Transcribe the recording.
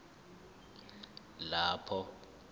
nalapho kuphathwa khona